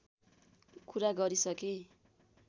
कुरा गरिसके